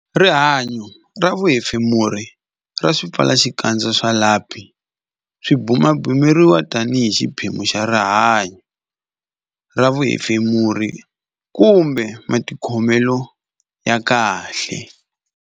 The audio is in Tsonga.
Rihanyo ra vuhefemuri ra swipfalaxikandza swa lapi Swipfalaxikandza swa lapi swi bumabumeriwa tanihi xiphemu xa rihanyo ra vuhefemuri kumbe matikhomelo ya kahle.